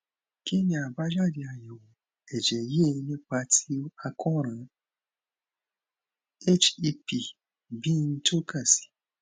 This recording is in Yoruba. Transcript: kí ni àbájáde ayewo ẹjẹ yìí nípa ti àkoran hep b n toka si